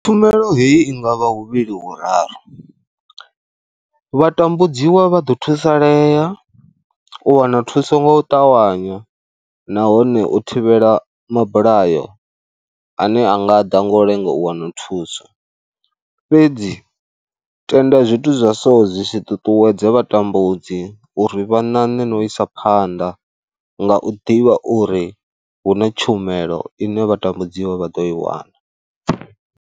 Tshumelo heyi i nga vha huvhili huraru, vha tambudziwa vha ḓo thusalea u wana thuso nga u ṱavhanya nahone u thivhela mabulayo ane a nga ḓa ngo lenga u wana thuso fhedzi tenda zwithu zwa so zwi si tutuwedze vha tambudzi tea uri vha ṋaṋe no isa phanḓa nga u ḓivha uri hu na tshumelo ine vha tambudziwa vha ḓo i wana.